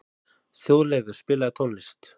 Þjóðleifur, spilaðu tónlist.